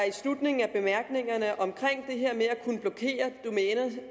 i slutningen af bemærkningerne om det her med